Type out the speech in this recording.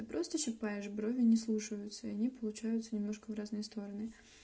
ты просто щипаешь брови не слушаются они получаются немножко в разные стороны